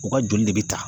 U ka joli de bɛ ta